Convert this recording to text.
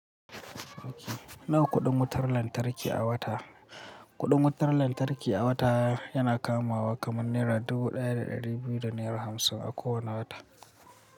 Nawa kuɗin wutar lantarki a wata? Kuɗin wutar lantarki a wata yana kamawa kaman naira dubu ɗaya da ɗari biyu da naira hamsin a kowane wata.